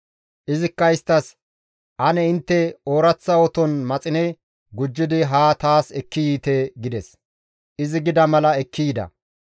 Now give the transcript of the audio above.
Izikka isttas, «Ane intte ooraththa oton maxine gujjidi haa taas ekki yiite» gides; izi gida mala ekki yida.